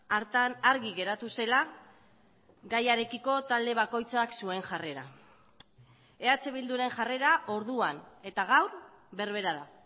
hartan argi geratu zela gaiarekiko talde bakoitzak zuen jarrera eh bilduren jarrera orduan eta gaur berbera da